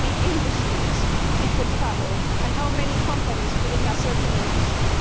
how many industries it will cover and how many companies within a certain industry.